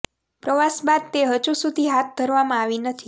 પ્રવાસ બાદ તે હજુ સુધી હાથ ધરવામાં આવી નથી